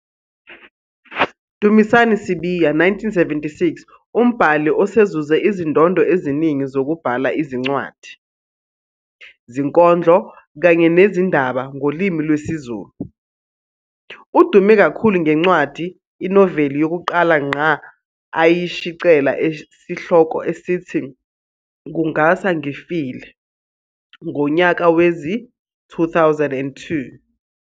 Dumisani Sibiya, 1976, umbhali osezuze izindondo eziningi zokubhala izincwadi, zinkondlo kanye nezindaba ngolimi lwesiZulu. Udume kakhulu ngencwadi, inoveli, yokuqala ngqa ayishicela esihloko esithi "Kungasa Ngifile" ngonyaka wezi-2002.